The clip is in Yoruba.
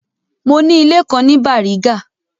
Mo ni ilé kan ní Bàrígà.